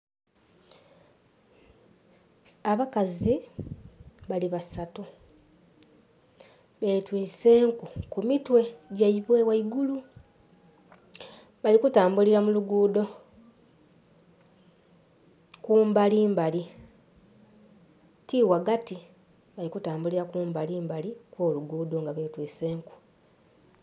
Abakazi bali basatu betwise enku ku mitwe gyaibwe ghaigulu, bali kutambulila mu luguudo kumbalimbali ti ghagati, bali kutambulira kumbali mbali kwo luguudo nga betwise enku.